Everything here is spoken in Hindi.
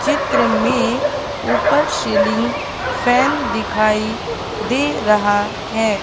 चित्र में ऊपर सीलिंग फैन दिखाई दे रहा है।